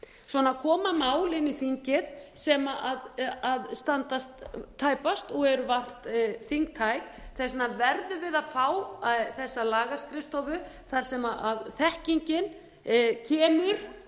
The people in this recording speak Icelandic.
svona koma mál inn í þingið sem standast tæpast og eru vart þingtæk þess vegna verðum við að fá þess lagaskrifstofu þar sem þekkingin kemur